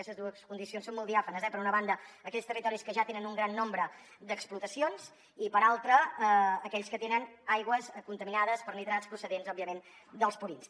aquestes dues condicions són molt diàfanes eh per una banda aquells territoris que ja tenen un gran nombre d’explotacions i per altra aquells que tenen aigües contaminades per nitrats procedents òbviament dels purins